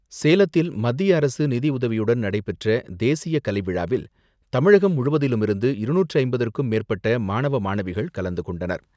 சேலத்தில் மத்திய அரசு நிதியுதவியுடன் நடைபெற்ற தேசிய கலை விழாவில் தமிழகம் முழுவதிலுமிருந்து இருநூற்று ஐம்பத்துக்கும் மேற்பட்ட மாணவ, மாணவிகள் கலந்து கொண்டனர்.